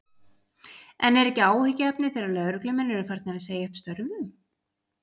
En er ekki áhyggjuefni þegar lögreglumenn eru farnir að segja upp störfum?